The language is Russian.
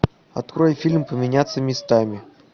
открой фильм поменяться местами